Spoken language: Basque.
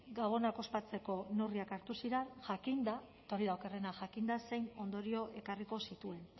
gabonak ospatzeko neurriak hartu ziren jakinda eta hori da okerrena jakinda zein ondorio ekarriko zituen